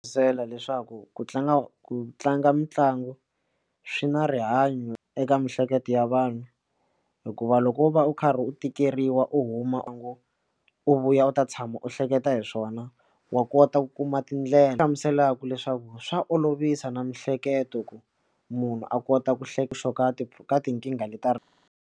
Byela leswaku ku tlanga ku tlanga mitlangu swi na rihanyo eka miehleketo ya vanhu hikuva loko u va u karhi u tikeriwa u huma u ngo u vuya u ta tshama u hleketa hi swona wa kota ku kuma tindlela hlamuselaka leswaku swa olovisa na miehleketo ku munhu a kota ku hleketa ka tinkingha leti .